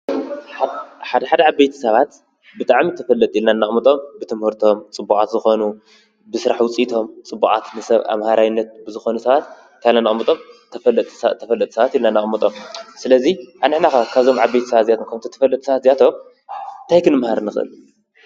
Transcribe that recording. ሓደ ሓደ ዓበይቲ ሰባት ብጣዕሚ ተፈለጥቲ ኢለና ኣነቕምጦም ብትምህርቶም ፅቡቓት ዝኾኑ ብስራሕ ውፂኢቶም ፅቡቓት ንሰብ ኣምሃራይነት ብዝኾኑ ሰባት ታይ ኢለና ነቐሙጦም፡፡ ተፈለጥቲ ሰባት ኢልና ነቐምጦም፡፡ ስለዙይ ኣንሕና ኸ ካብዞም ዓበይቲ ሰባት እዚኣቶም ከምቲ ተፈለጥቲ ሰባት እዚኣቶም ታይ ክንመሃር ንኽእል?